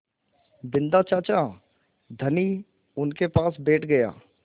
बिन्दा चाचा धनी उनके पास बैठ गया